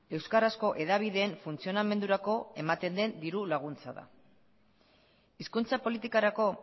euskarazko hedabideen funtzionamendurako ematen den diru laguntza da hizkuntza politikarako